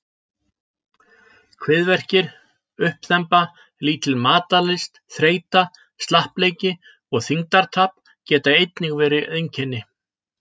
Kviðverkir, uppþemba, lítil matarlyst, þreyta, slappleiki og þyngdartap geta einnig verið einkenni.